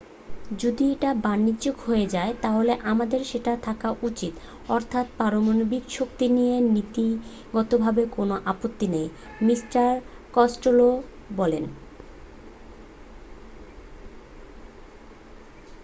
যদি এটা বাণিজ্যিক হয়ে যায় তাহলে আমাদের সেটা থাকা উচিত অর্থাৎ পারমাণবিক শক্তি নিয়ে নীতিগতভাবে কোন আপত্তি নেই মিস্টার কস্টেলো বললেন